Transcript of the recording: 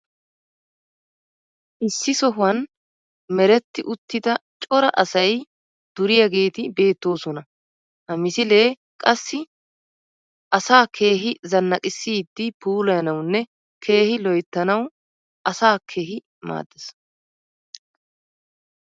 issi sohuwan meretti uttida cora asay duriyaageeti beettoosona. ha misilee qassi asaa keehi zanaqqissidi puulayanawunne keehi loyttanawu asaa keehi maaddees.